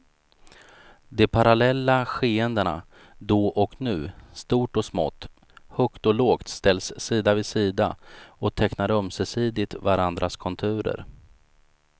De parallella skeendena, då och nu, stort och smått, högt och lågt ställs sida vid sida och tecknar ömsesidigt varandras konturer.